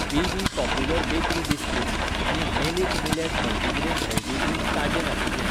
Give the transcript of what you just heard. BB. Popular bakery biscuit आनी मेलिट millet multigrain healthy drink ताजें नाशिल्ले.